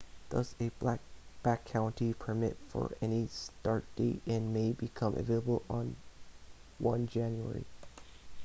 thus a backcountry permit for any start date in may becomes available on 1 jan